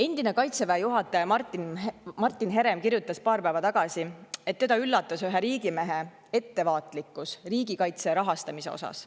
Endine Kaitseväe juhataja Martin Herem kirjutas paar päeva tagasi, et teda üllatas ühe riigimehe ettevaatlikkus riigikaitse rahastamisest rääkides.